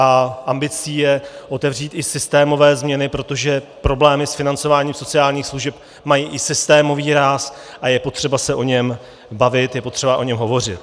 A ambicí je otevřít i systémové změny, protože problémy s financováním sociálních služeb mají i systémový ráz a je potřeba se o něm bavit, je potřeba o něm hovořit.